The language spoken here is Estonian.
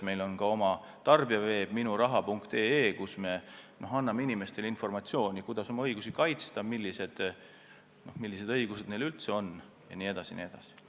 Meil on oma tarbijaveeb Minuraha.ee, kus me anname inimestele informatsiooni, kuidas oma õigusi kaitsta, millised õigused neil üldse on jne, jne.